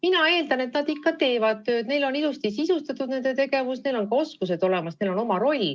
Mina eeldan, et nad ikka teevad tööd, nende tegevus on ilusasti sisustatud, neil on ka oskused olemas, neil on oma roll.